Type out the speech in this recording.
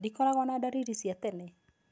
Ndĩkoragwo na ndariri cia tene